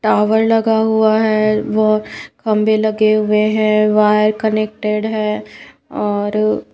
tower लगा हुआ है वो खंबे लगे हुए हैं वायर कनेक्टेड है और--